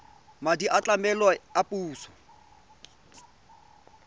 madi a tlamelo a puso